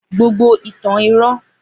Gbogbo ìtàn irọ́